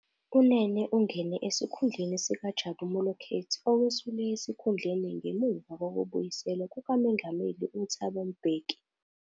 UNene ungene esikhundleni sikaJabu Moleketi, owesula esikhundleni ngemuva kokubuyiselwa kukaMengameli uThabo Mbeki.